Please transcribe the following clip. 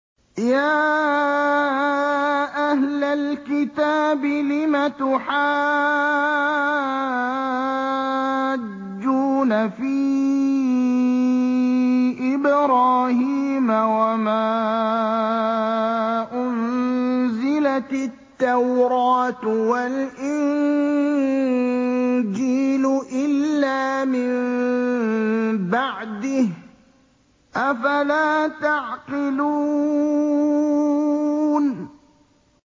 يَا أَهْلَ الْكِتَابِ لِمَ تُحَاجُّونَ فِي إِبْرَاهِيمَ وَمَا أُنزِلَتِ التَّوْرَاةُ وَالْإِنجِيلُ إِلَّا مِن بَعْدِهِ ۚ أَفَلَا تَعْقِلُونَ